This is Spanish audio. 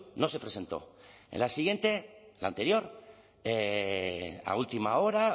no se presentó en la siguiente la anterior a última hora